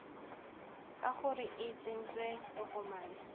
ka gore o tsentse tokomane